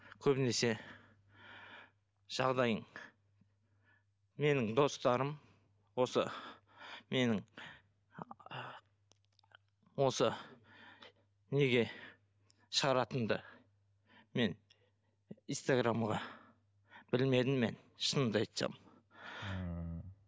көбінесе жағдайың менің достарым осы менің осы неге шығаратынымды мен инстаграмға білмедім мен шынымды айтсам ммм